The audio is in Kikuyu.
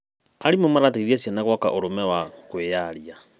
Arimũ marateithia ciana gwaka ũrũme wa kwĩyaria.